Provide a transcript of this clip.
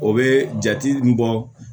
O bɛ jate min bɔ